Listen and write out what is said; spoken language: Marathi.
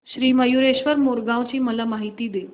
श्री मयूरेश्वर मोरगाव ची मला माहिती दे